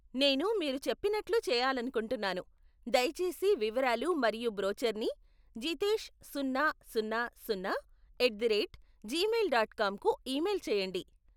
నేను మీరు చెప్పినట్లు చెయాలనుకుంటున్నాను, దయచేసి వివరాలు మరియు బ్రోచర్ని జితేష్ సున్నా సున్నా సున్నా at the rate Gmail dot com కు ఈమెయిల్ చేయండి.